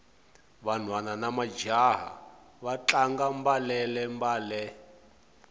vanhwana namajaha va tlanga mbalele mbale